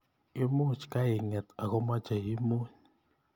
imuch kainget akomeche imuny